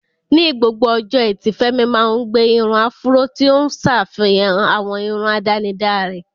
Ní gbogbo ọjọ́ Ẹtì, Femi máa ń gbé irun áfúró, tí ó ń ṣàfihàn àwọn irun àdánidá rẹ̀.